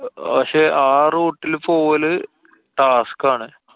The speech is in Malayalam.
പക്ഷെ ആ route ല് പോവല് task ആണ്.